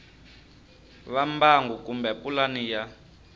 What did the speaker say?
va mbangu kumbe pulani ya